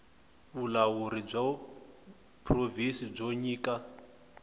vulawuri bya provhinsi byo nyika